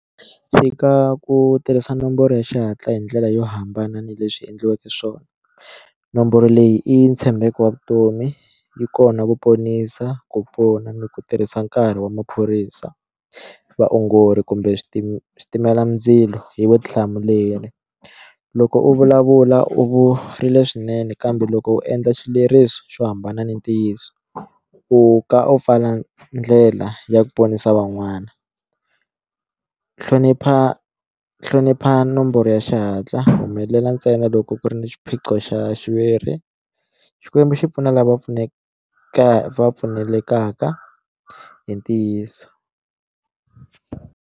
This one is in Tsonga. Tshika ku tirhisa nomboro ya xihatla hi ndlela yo hambana ni leswi endliweke swona nomboro leyi i ntshembeko wa vutomi yi kona ku ponisa ku pfuna ni ku tirhisa nkarhi wa maphorisa vaongori kumbe switimelamindzilo hi vutihlamuleri loko u vulavula u swinene kambe loko u endla xileriso xo hambana ni ntiyiso u ka u pfala ndlela ya ku ponisa van'wana hlonipha hlonipha nomboro ya xihatla humelela ntsena loko ku ri ni xiphiqo xa xiviri xikwembu xi pfuna lava va va pfumelekaka hi ntiyiso.